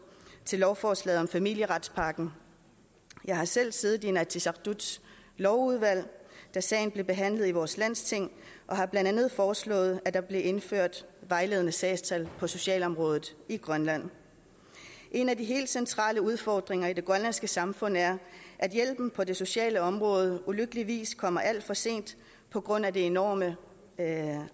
til lovforslaget om familieretspakken jeg har selv siddet i inatsisartuts lovudvalg da sagen blev behandlet i vores landsting og har blandt andet foreslået at der blev indført vejledende sagstal på socialområdet i grønland en af de helt centrale udfordringer i det grønlandske samfund er at hjælpen på det sociale område ulykkeligvis kommer alt for sent på grund af det enorme